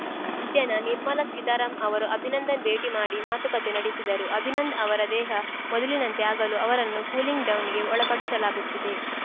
ಮಧ್ಯಾಹ್ನ ನಿರ್ಮಲಾ ಸೀತಾರಾಮ್ ಅವರು ಅಭಿನಂದನ್‌ ಭೇಟಿ ಮಾಡಿ ಮಾತುಕತೆ ನಡೆಸಿದರು ಅಭಿನಂದ್ ಅವರ ದೇಹ ಮೊದಲಿನಂತೆ ಆಗಲು ಅವರನ್ನು ಕೂಲಿಂಗ್‌ ಡೌನ್‌ಗೆ ಒಳಪಡಿಸಲಾಗುತ್ತಿದೆ